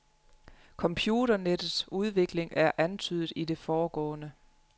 Computernettets udvikling er antydet i det foregående.